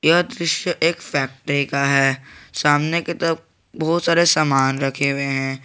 यह दृश्य एक फैक्ट्री का है सामने के तरफ बहुत सारे सामान रखे हुए हैं।